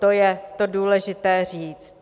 To je to důležité říct.